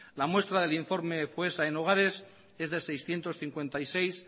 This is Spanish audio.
la muestra del informe foessa en hogares es de seiscientos cincuenta y seis